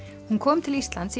hún kom til Íslands í